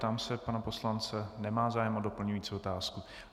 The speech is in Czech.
Ptám se pana poslance - nemá zájem o doplňující otázku.